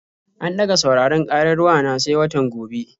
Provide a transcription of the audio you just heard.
An ɗaga sauraron ƙarar wa na sai watan gobe.